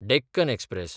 Deccan express